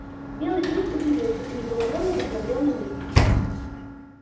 белый клык удивился и недоумённо посмотрел на них